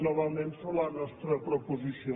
novament sobre la nostra proposició